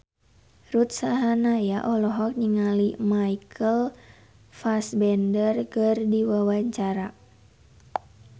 Ruth Sahanaya olohok ningali Michael Fassbender keur diwawancara